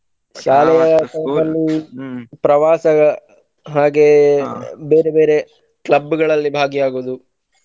ಶಾಲೆಯ time ಲ್ಲಿ ಪ್ರವಾಸದ ಹಾಗೆ ಬೇರೆ ಬೇರೆ club ಗಳಲ್ಲಿ ಭಾಗಿಯಾಗುವುದು.